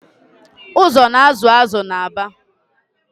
Ụzọ na-azụ azụ n’Aba